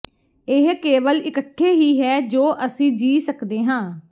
ਇਹ ਕੇਵਲ ਇਕੱਠੇ ਹੀ ਹੈ ਜੋ ਅਸੀਂ ਜੀ ਸਕਦੇ ਹਾਂ